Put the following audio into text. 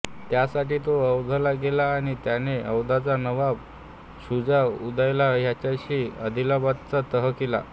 त्यासाठी तो अवधला गेला आणि त्याने अवधचा नबाब शुजा उदौला ह्याच्याशी अलाहाबादचा तह केला